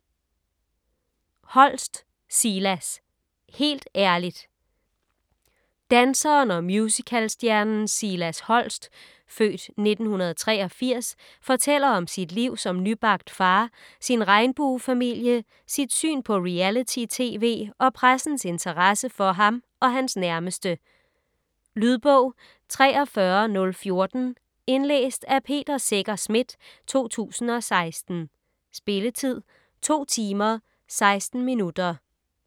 Holst, Silas: Helt ærligt Danseren og musicalstjernen Silas Holst (f. 1983) fortæller om sit liv som nybagt far, sin regnbuefamilie, sit syn på reality-tv og pressens interesse for ham og hans nærmeste. Lydbog 43014 Indlæst af Peter Secher Schmidt, 2016. Spilletid: 2 timer, 16 minutter.